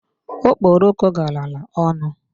Okporoko galara ọnụ.